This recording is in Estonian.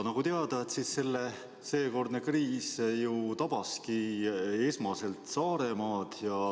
Nagu teada, tabaski seekordne kriis esmalt Saaremaad.